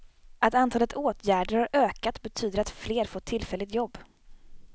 Att antalet åtgärder har ökat betyder att fler fått tillfälligt jobb.